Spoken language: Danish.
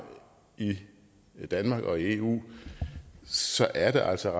i danmark og i eu så er det altså